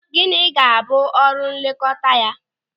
Gịnị ga-abụ ọrụ nlekọta ya?